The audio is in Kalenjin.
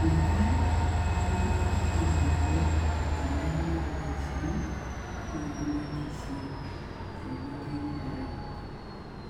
Ne tai awendii korong anyoruu chitoo nekikobaisheen kii kimwetisheen nekimweteen ingoraik